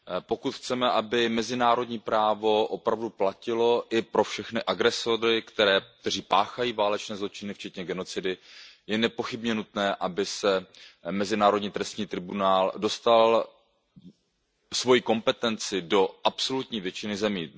Pokud chceme, aby mezinárodní právo opravdu platilo i pro všechny agresory, kteří páchají válečné zločiny včetně genocidy, je nepochybně nutné, aby Mezinárodní trestní tribunál dostal svoji kompetenci do absolutní většiny zemí.